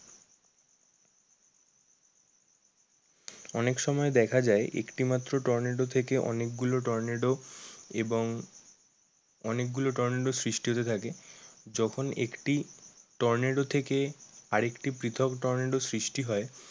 অনেক সময় দেখা যায় একটি মাত্র টর্নেডো থেকে অনেক গুলো টর্নেডো এবং অনেক গুলো টর্নেডো সৃষ্টি হতে থাকে যখন একটি টর্নেডো থেকে আর একটি পৃথক টর্নেডো সৃষ্টি হয়